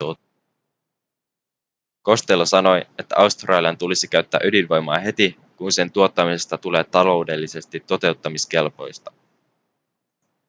costello sanoi että australian tulisi käyttää ydinvoimaa heti kun sen tuottamisesta tulee taloudellisesti totuttamiskelpoista